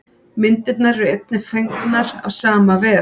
Myndirnar eru einnig fengnar af sama vef.